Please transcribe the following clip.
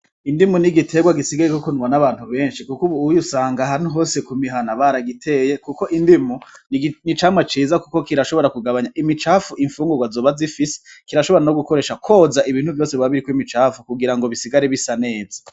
Indimu ni igiterwa gisigaye kokunwa n'abantu benshi, kuko, ubu uyo usanga ahantu hose ku mihana baragiteye, kuko indimu ni camwa ciza, kuko kirashobora kugabanya imicafu imfungunro azoba azifisi kirashobora no gukoresha kwoza ibintu vyose babiriko imicafu kugira ngo bisigare bisa neza.